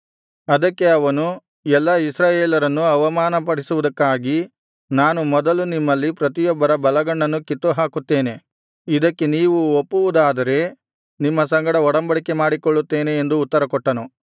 ಅದಕ್ಕೆ ಅವನು ಎಲ್ಲಾ ಇಸ್ರಾಯೇಲರನ್ನು ಅವಮಾನಪಡಿಸುವುದಕ್ಕಾಗಿ ನಾನು ಮೊದಲು ನಿಮ್ಮಲ್ಲಿ ಪ್ರತಿಯೊಬ್ಬರ ಬಲಗಣ್ಣನ್ನು ಕಿತ್ತುಹಾಕುತ್ತೇನೆ ಇದಕ್ಕೆ ನೀವು ಒಪ್ಪುವುದಾದರೆ ನಿಮ್ಮ ಸಂಗಡ ಒಡಂಬಡಿಕೆ ಮಾಡಿಕೊಳ್ಳುತ್ತೇನೆ ಎಂದು ಉತ್ತರಕೊಟ್ಟನು